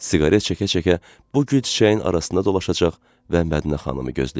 Siqaret çəkə-çəkə bu gül-çiçəyin arasında dolaşacaq və Mədinə xanımı gözləyəcək.